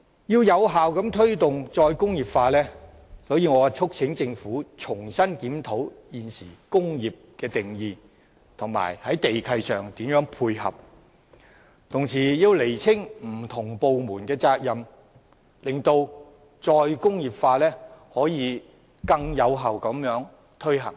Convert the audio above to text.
要有效推動"再工業化"，我促請政府重新檢討現行的"工業"定義，並在地契上作出配合，同時亦要釐清不同部門的責任，使"再工業化"可以更有效地推行。